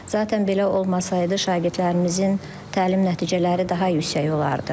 Zatən belə olmasaydı, şagirdlərimizin təlim nəticələri daha yüksək olardı.